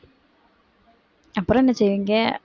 அப்புறம் என்ன செய்வீங்க